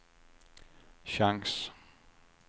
chans